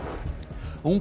ung